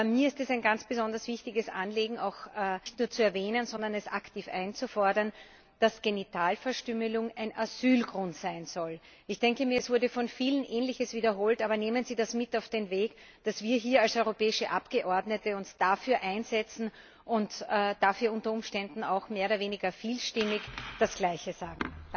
Aber mir ist es ein ganz besonders wichtiges Anliegen, nicht nur zu erwähnen, sondern aktiv einzufordern, dass Genitalverstümmelung ein Asylgrund sein soll. Ich denke mir, es wurde von vielen Ähnliches wiederholt, aber nehmen Sie das mit auf den Weg, dass wir uns hier als europäische Abgeordnete dafür einsetzen und dafür unter Umständen auch mehr oder weniger vielstimmig das Gleiche sagen.